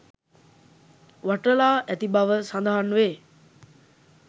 වටලා ඇති බව සඳහන්වේ